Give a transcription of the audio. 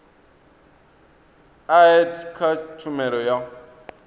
a etd kha tshumelo ya